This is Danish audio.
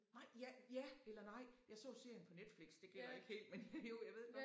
Nej ja ja eller nej jeg så serien på Netflix det glæder ikke helt men jo jeg ved godt